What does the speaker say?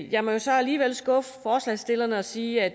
jeg må så alligevel skuffe forslagsstillerne og sige at